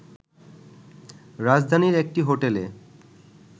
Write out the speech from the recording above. রাজধানীর একটি হোটেলে